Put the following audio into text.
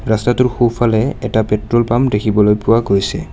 ৰাস্তাটোৰ সোঁফালে এটা পেট্ৰল পাম্প দেখিবলৈ পোৱা গৈছে।